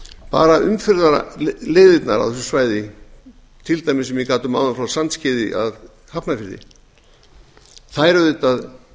bara umferðarleiðirnar á þessu svæði til dæmis sem ég gat um áðan frá sandskeiði að hafnarfirði skapa auðvitað